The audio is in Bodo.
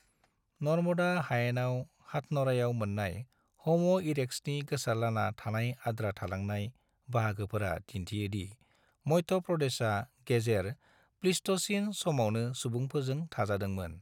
नर्मदा हायेनाव हाथन'रायाव मोन्नाय हम' इरेक्ट्सनि गोसारलाना थानाय आद्रा थालांनाय बाहागोफोरा दिन्थियो दि मध्य प्रदेशा गेजेर प्लीस्ट'सीन समावनो सुबुंफोरजों थाजादोंमोन।